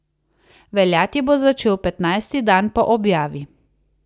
Veljati bo začel petnajsti dan po objavi.